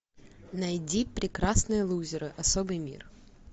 найди прекрасные лузеры особый мир